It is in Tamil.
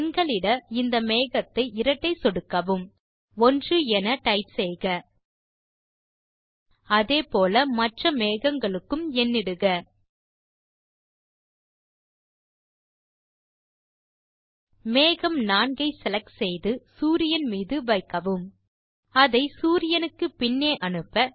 எண்களிட இந்த மேகத்தை இரட்டை சொடுக்கவும் 1 என டைப் செய்க அதே போல மற்ற மேகங்களுக்கு எண்ணிடுக மேகம் 4 ஐ செலக்ட் செய்து சூரியன் மீது வைக்கவும் அதை சூரியனுக்கு பின்னே அனுப்ப